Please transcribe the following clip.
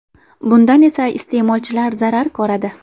Bundan esa iste’molchilar zarar ko‘radi.